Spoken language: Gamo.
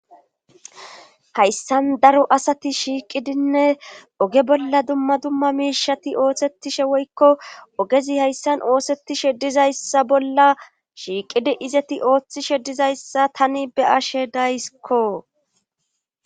Hayssan daro asati shiiqidinne oge bolla dumma dumma miishati ooththettishe woykko ogezi hayssan oosettishe dizayssa bolla shiiqidi izeti ooththishe dizayssa tani be ashe dayskko